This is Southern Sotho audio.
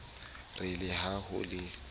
re le ha ho le